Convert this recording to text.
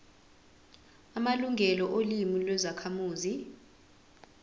amalungelo olimi lwezakhamuzi